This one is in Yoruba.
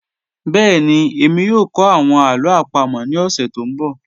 Bẹẹni, ẹ̀mí yoo kọ awọn alo apamo ni ọsẹ to nbọ.